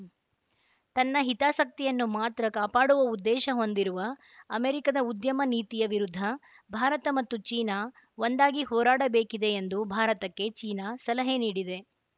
ತನ್ನ ಹಿತಾಸಕ್ತಿಯನ್ನು ಮಾತ್ರ ಕಾಪಾಡುವ ಉದ್ದೇಶ ಹೊಂದಿರುವ ಅಮೆರಿಕದ ಉದ್ಯಮ ನೀತಿಯ ವಿರುದ್ಧ ಭಾರತ ಮತ್ತು ಚೀನಾ ಒಂದಾಗಿ ಹೋರಾಡಬೇಕಿದೆ ಎಂದು ಭಾರತಕ್ಕೆ ಚೀನಾ ಸಲಹೆ ನೀಡಿದೆ